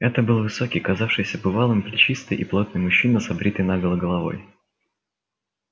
это был высокий казавшийся бывалым плечистый и плотный мужчина с обритой наголо головой